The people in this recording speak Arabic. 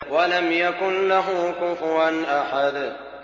وَلَمْ يَكُن لَّهُ كُفُوًا أَحَدٌ